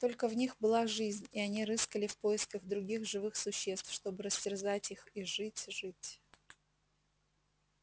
только в них была жизнь и они рыскали в поисках других живых существ чтобы растерзать их и жить жить